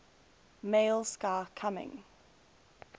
male sky coming